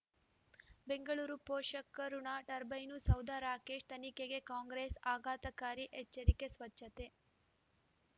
ಬೆಂಗಳೂರು ಪೋಷಕರಋಣ ಟರ್ಬೈನು ಸೌಧ ರಾಕೇಶ್ ತನಿಖೆಗೆ ಕಾಂಗ್ರೆಸ್ ಆಘಾತಕಾರಿ ಎಚ್ಚರಿಕೆ ಸ್ವಚ್ಛತೆ